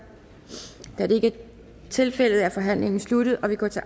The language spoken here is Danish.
da det ikke er tilfældet er forhandlingen sluttet og vi går til